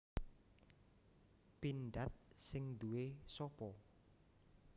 Pindad sing nduwe sopo?